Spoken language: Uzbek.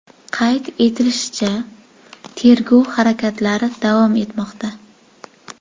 Qayd etishlaricha, tergov harakatlari davom etmoqda.